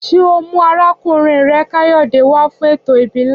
Ṣé ọ mú arákùnrin rẹ Káyòdé wá fún ètò ìbílè